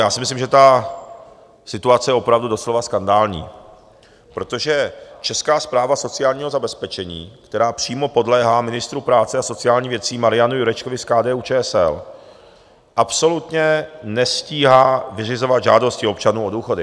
Já si myslím, že ta situace je opravdu doslova skandální, protože Česká správa sociálního zabezpečení, která přímo podléhá ministru práce a sociálních věcí Marianu Jurečkovi z KDU-ČSL, absolutně nestíhá vyřizovat žádosti občanů o důchody.